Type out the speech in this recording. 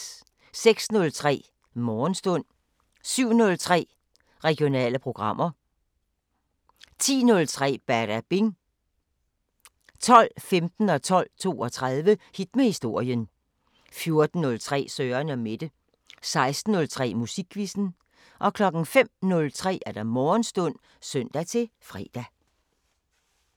06:03: Morgenstund 07:03: Regionale programmer 10:03: Badabing 12:15: Hit med historien 12:32: Hit med historien 14:03: Søren & Mette 16:03: Musikquizzen 05:03: Morgenstund (søn-fre)